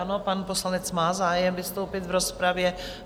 Ano, pan poslanec má zájem vystoupit v rozpravě.